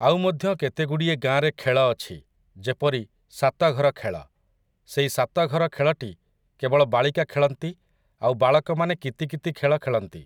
ଆଉ ମଧ୍ୟ କେତେଗୁଡ଼ିଏ ଗାଁରେ ଖେଳ ଅଛି, ଯେପରି, ସାତଘର ଖେଳ । ସେଇ ସାତଘର ଖେଳଟି କେବଳ ବାଳିକା ଖେଳନ୍ତି ଆଉ ବାଳକମାନେ କିତି କିତି ଖେଳ ଖେଳନ୍ତି ।